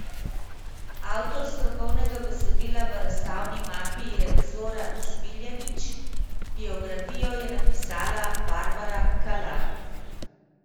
Avtor strokovnega besedila v razstavni mapi je Zoran Smiljanić, biografijo je napisala Barbara Kalan.